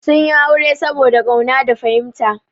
Sun yi aure saboda ƙauna da fahimta.